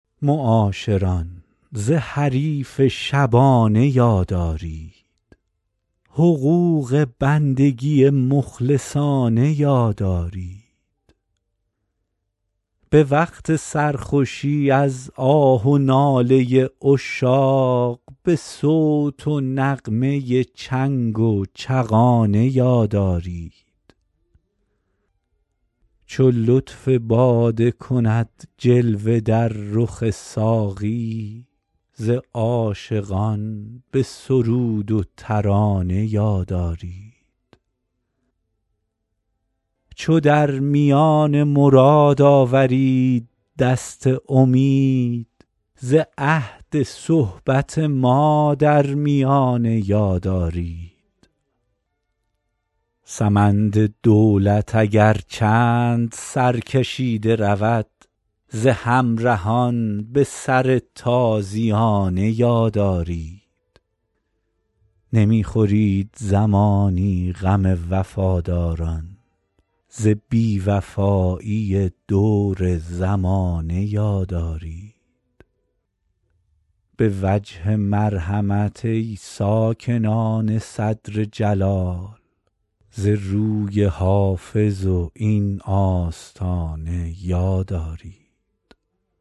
معاشران ز حریف شبانه یاد آرید حقوق بندگی مخلصانه یاد آرید به وقت سرخوشی از آه و ناله عشاق به صوت و نغمه چنگ و چغانه یاد آرید چو لطف باده کند جلوه در رخ ساقی ز عاشقان به سرود و ترانه یاد آرید چو در میان مراد آورید دست امید ز عهد صحبت ما در میانه یاد آرید سمند دولت اگر چند سرکشیده رود ز همرهان به سر تازیانه یاد آرید نمی خورید زمانی غم وفاداران ز بی وفایی دور زمانه یاد آرید به وجه مرحمت ای ساکنان صدر جلال ز روی حافظ و این آستانه یاد آرید